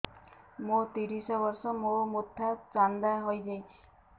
ମୋ ତିରିଶ ବର୍ଷ ମୋ ମୋଥା ଚାନ୍ଦା ହଇଯାଇଛି